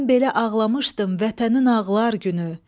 Mən belə ağlamışdım vətənin ağlar günü.